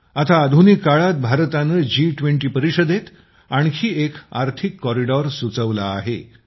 आता आधुनिक काळात भारताने जी20 परिषदेत आणखी एक आर्थिक कॉरिडॉर सुचवला आहे